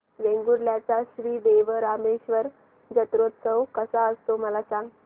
वेंगुर्ल्या चा श्री देव रामेश्वर जत्रौत्सव कसा असतो मला सांग